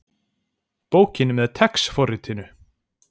Bókin með TeX forritinu.